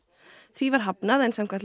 því var hafnað en samkvæmt